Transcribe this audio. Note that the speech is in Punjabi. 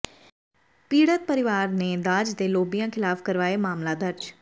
ਪੀੜਤ ਪਰਿਵਾਰ ਨੇ ਦਾਜ ਦੇ ਲੋਭੀਆਂ ਖਿਲਾਫ਼ ਕਰਵਾਇ ਮਾਮਲਾ ਦਰਜ